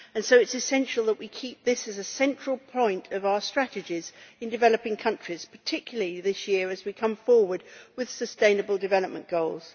So it is essential that we keep this is a central point of our strategies in developing countries, particularly this year as we come forward with the Sustainable Development Goals.